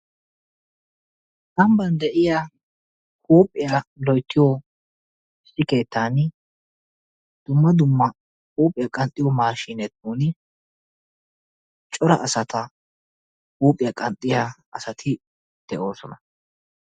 Amban de'iya huuphiya loyttiyo keettan dumma dumma huuphiya qanxxiyo maashine qommoti cora asata huuphiya qanxxiya asati de'oosona.